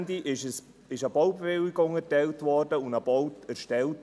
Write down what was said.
Am Ende wurde eine Baubewilligung erteilt und ein Bau erstellt.